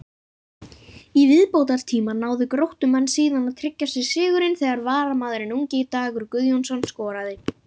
Í viðbótartíma náðu Gróttumenn síðan að tryggja sér sigurinn þegar varamaðurinn ungi Dagur Guðjónsson skoraði.